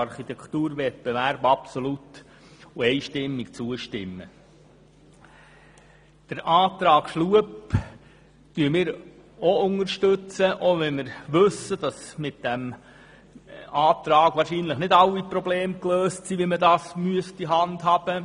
Wir unterstützen ebenfalls den Antrag Schlup, auch wenn wir wissen, dass mit dem Antrag wahrscheinlich nicht alle Probleme der Handhabung gelöst werden.